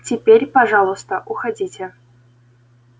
теперь пожалуйста уходите